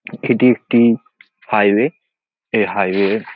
এটি একটি হাইওয়ে । এই হাইওয়ে -এর--